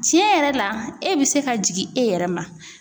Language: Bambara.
Tiɲɛ yɛrɛ la e bɛ se ka jigin e yɛrɛ ma.